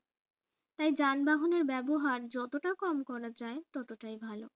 তাই যানবাহনের ব্যবহার যতটা কম করা যায় ততটাই ভালো